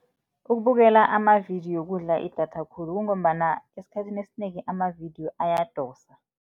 Ukubukela amavidiyo okudla idatha khulu kungombana esikhathini esinengi amavidiyo ayadosa.